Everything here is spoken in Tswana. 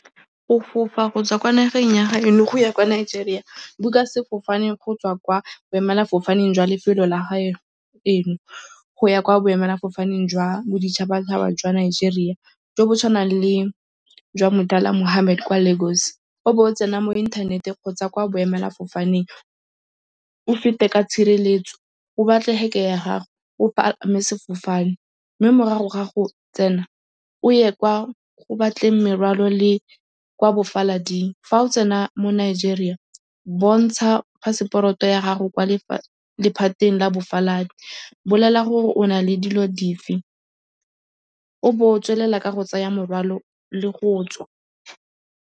Go fofa kgotsa kwa nageng ya ga eno go ya kwa Nigeria, book-a sefofane go tswa kwa boemelafofane jwa lefelo la gaeno. Go ya kwa boemelafofaneng jwa boditšhabatšhaba jwa Nigeria jo bo tshwanang le jwa Murtala Mohammed kwa Lagos. O bo o tsena mo inthaneteng kgotsa kwa boemelafofaneng o fete ka tshireletso, o batle ya gago, o palame sefofane mme morago ga go tsena, o ye kwa o batle merwalo le kwa bofalading. Fa o tsena mo Nigeria, bontsha phaseporoto ya gago kwa lephateng la bofaladi. Bolela gore o na le dilo dife. O bo o tswelela ka go tsaya morwalo le go tswa.